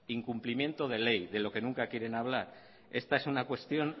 incumplimiento de ley de lo que nunca quieren hablar esta es una cuestión